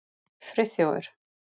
Friðþjófur